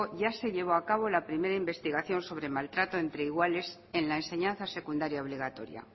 ya se llevó acabo la primera investigación sobre maltrato entre iguales en la enseñanza secundaria obligatoria